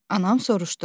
Anam soruşdu.